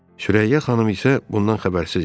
Sürəyya xanım isə bundan xəbərsiz idi.